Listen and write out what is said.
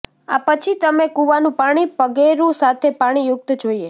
આ પછી તમે કૂવાનું પાણી પગેરું સાથે પાણીયુક્ત જોઈએ